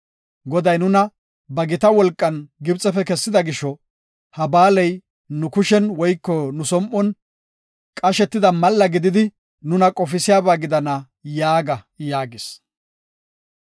Goday nuna ba gita wolqan Gibxefe kessida gisho, ha ba7aaley nu kushen woyko nu som7on qashetida malla gididi nuna qofisiyaba gidana’ yaaga” yaagis.